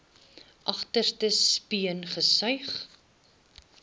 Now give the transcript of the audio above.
agterste speen gesuig